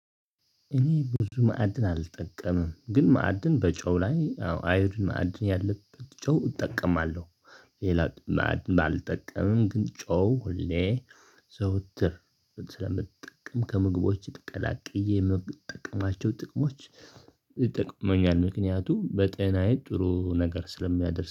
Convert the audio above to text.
እኔ ብዙ ማዕድን አልጠቀምም ግን ማዕድን በጨው ላይ አዮዲን ማዕድን ያለበት ጨው እጠቀማለሁ። ሌላ ባላልጠቀምም ግን ጨው ሁሌ ዘወትር። ከምግቦች ቀላቅዬ የምግብ ጠቅማቸው ጥቅሞች ይጠቅመኛል ምክንያቱም በጤናዬ ጥሩ ነገር ስለሚያደርስ